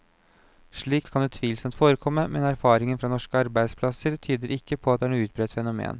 Slikt kan utvilsomt forekomme, men erfaringen fra norske arbeidsplasser tyder ikke på at det er noe utbredt fenomen.